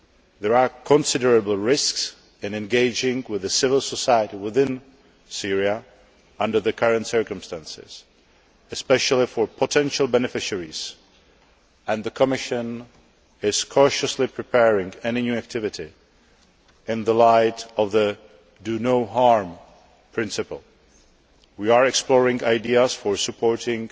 There are considerable risks in engaging with civil society within Syria under the current circumstances, especially for potential beneficiaries, and the Commission is cautiously preparing any new activity in light of the do no harm' principle. We are exploring ideas for supporting